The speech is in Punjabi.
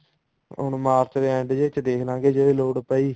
ਹੁਣ ਮਾਰਚ ਦੇ end ਜੇ ਚ ਦੇਖਲਾਂਗੇ ਜੇ ਲੋੜ ਪਈ